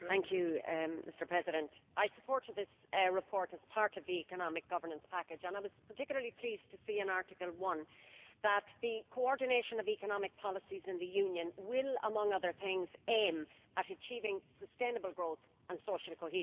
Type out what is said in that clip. Mr President, I supported this report as part of the economic governance package and I was particularly pleased to see in Article 1 that the coordination of economic policies in the Union will, among other things, aim at achieving sustainable growth and social cohesion.